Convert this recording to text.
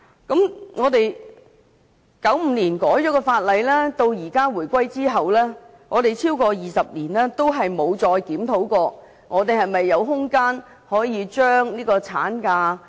由1995年法例修訂到回歸後超過20年，我們再沒有檢討是否有空間可以延長產假。